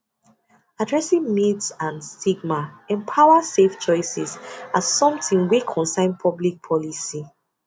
addressing myths and stigma empowers safe choices as something wey concern public policy